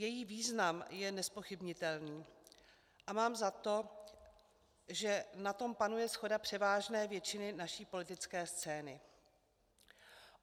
Její význam je nezpochybnitelný a mám za to, že na tom panuje shoda převážné většiny naší politické scény.